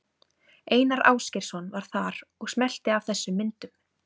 Einar Ásgeirsson var þar og smellti af þessum myndum.